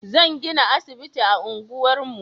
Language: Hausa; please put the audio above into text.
Zan gina asibiti a unguwar mu